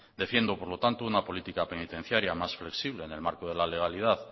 defiendo por lo tanto una política penitenciaria más flexible en el marco de la legalidad